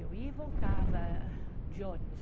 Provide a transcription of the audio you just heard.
Eu ia e voltava de ônibus.